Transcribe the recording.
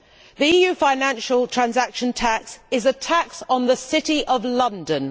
The EU financial transaction tax is a tax on the City of London.